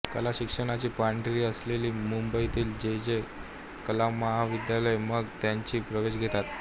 कलाशिक्षणाची पंढरी असलेल्या मुंबईतील जे जे कलामहाविद्यालयात मग त्यांनी प्रवेश घेतला